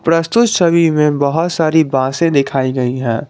प्रस्तुत छवि में बहुत सारी बांसे दिखाई गई है।